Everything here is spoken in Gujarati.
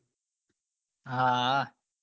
હા હા